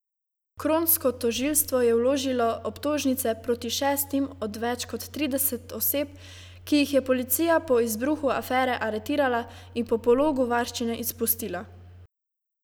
Kronsko tožilstvo je vložilo obtožnice proti šestim od več kot trideset oseb, ki jih je policija po izbruhu afere aretirala in po pologu varščine izpustila.